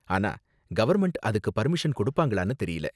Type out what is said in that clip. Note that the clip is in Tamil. ஆனா கவர்ன்மெண்ட் அதுக்கு பர்மிஷன் கொடுப்பாங்களான்னு தெரியல.